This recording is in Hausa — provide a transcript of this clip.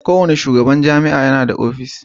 Kowane shugaban jami'a yana da ofishi.